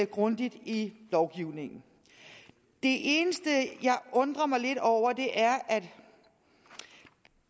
grundigt i lovgivningen det eneste jeg undrer mig lidt over er at